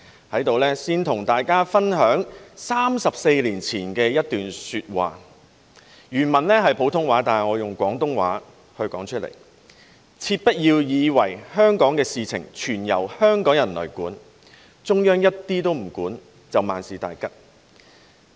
在這裏先跟大家分享34年前的一段說話，原文是普通話，但我以廣東話說出來："切不要以為香港的事情全由香港人來管，中央一點都不管，就萬事大吉了。